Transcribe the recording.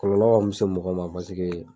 Kɔlɔlɔ mi se mɔgɔ ma basike